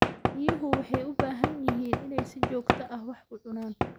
Riyuhu waxay u baahan yihiin inay si joogto ah wax u cunaan.